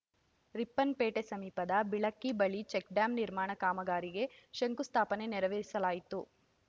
ರಿಪ್ಪನ್‌ಪೇಟೆ ಸಮೀಪದ ಬಿಳಕಿ ಬಳಿ ಚೆಕ್‌ಡ್ಯಾಂ ನಿರ್ಮಾಣ ಕಾಮಗಾರಿಗೆ ಶಂಕುಸ್ಥಾಪನೆ ನೆರವೇರಿಸಲಾಯಿತು